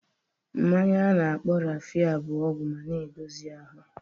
Mmanya a na-akpọ Raffia bụ ọgwụ ma na-edozi ahụ